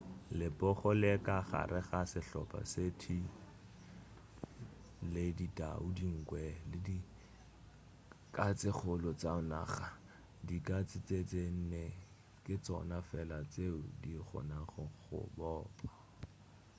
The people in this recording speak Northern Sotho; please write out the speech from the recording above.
lepogo le ka gare ga sehlopa se tee genus panthera le ditau dinkwe le dikatsekgolo tša naga. dikatse tše tše nne ke tšona fela tšeo di kgonago go bopa